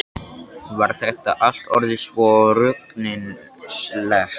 Þetta var allt orðið svo ruglingslegt.